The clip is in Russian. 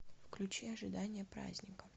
включи ожидание праздника